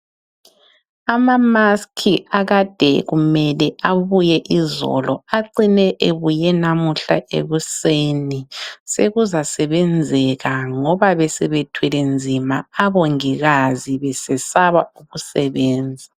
Ama"mask" akade kumele abuye izolo acine ebuye namuhla ekuseni. Sekuzasebenzeka ngoba besebethwele nzima abongikazi besesaba ukusebenza.